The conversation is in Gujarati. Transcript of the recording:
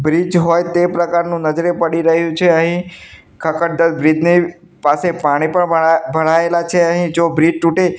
બ્રીજ હોય તે પ્રકારનું નજરે પડી રહ્યુ છે અહીં ખખડધજ બ્રીજ ની પાસે પાણી પણ લરા ભરાયેલા છે અહીં જો બ્રીજ તુટે--